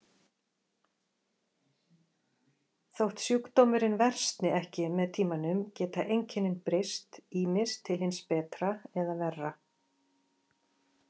Þótt sjúkdómurinn versni ekki með tímanum geta einkennin breyst, ýmist til hins betra eða verra.